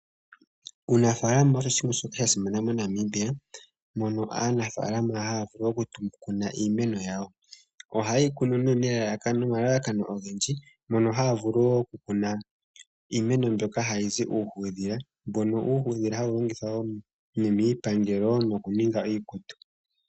Uunafaalama osho oshinima shoka sha simana moNamibia. Mono aanafaalama haya vulu okukuna iimeno yawo. Ohaye yi kunu nee nomalalakano ogendji. Mono haya vulu wo okukuna iimeno mbyono hayi zi uuhudhila. Mono uuhudhila hawu longithwa miipangelo nokuninga iikutu.